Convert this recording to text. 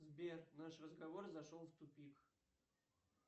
сбер наш разговор зашел в тупик